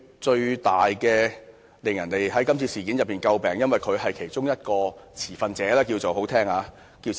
在今次事件中，他最為人詬病，因為他是其中一名"持份者"——這是比較好聽的說法。